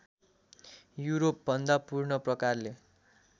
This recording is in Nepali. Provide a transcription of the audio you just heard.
युरोपभन्दा पूर्ण प्रकारले